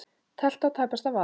Teflt á tæpasta vað.